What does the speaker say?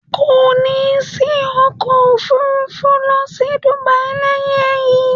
Ko ni sí ọkọ̀ Òfurufú lọ sí Dubai lẹ́yìn eyi